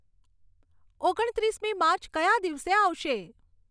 ઓગણ ત્રીસમી માર્ચ કયા દિવસે આવશે